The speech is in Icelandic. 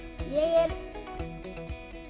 ég